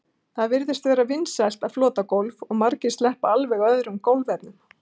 Það virðist vera vinsælt að flota gólf og margir sleppa alveg öðrum gólfefnum.